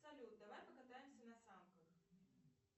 салют давай покатаемся на санках